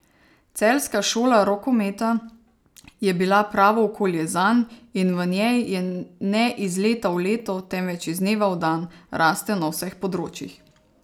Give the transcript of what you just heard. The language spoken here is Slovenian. Celjska šola rokometa je bila pravo okolje zanj in v njej je ne iz leta v leto, temveč iz dneva v dan, rastel na vseh področjih.